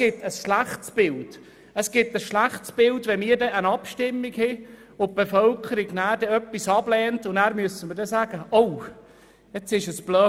Wenn die Bevölkerung in einer Abstimmung etwas ablehnt und wir dann sagen müssen, das sei dumm gelaufen, ergibt das ein schlechtes Bild.